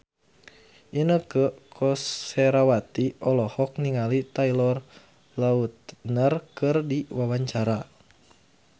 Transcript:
Inneke Koesherawati olohok ningali Taylor Lautner keur diwawancara